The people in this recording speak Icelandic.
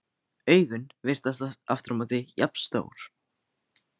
Augun virðast aftur á móti jafn stór.